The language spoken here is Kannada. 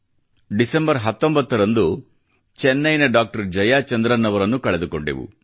ಡಿಸೆಂಬರ್ 19 ರಂದು ಚೆನ್ನೈ ನ ಡಾಕ್ಟರ್ ಜಯಾಚಂದ್ರನ್ ಅವರನ್ನು ಕಳೆದುಕೊಂಡೆವು